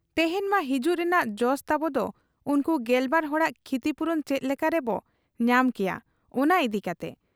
ᱛᱮᱦᱮᱧ ᱢᱟ ᱦᱤᱡᱩᱜ ᱨᱮᱱᱟᱜ ᱡᱚᱥ ᱛᱟᱵᱚᱫᱚ ᱩᱱᱠᱩ ᱜᱮᱞᱵᱟᱨ ᱦᱚᱲᱟᱜ ᱠᱷᱤᱛᱤᱯᱩᱨᱚᱱ ᱪᱮᱫ ᱞᱮᱠᱟ ᱨᱮᱵᱚ ᱧᱟᱢ ᱠᱮᱭᱟ, ᱚᱱᱟ ᱤᱫᱤ ᱠᱟᱛᱮ ᱾